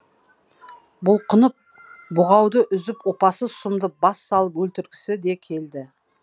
бұлқынып бұғауды үзіп опасыз сұмды бассалып өлтіргісі де келді